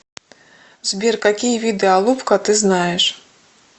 сбер какие виды алупка ты знаешь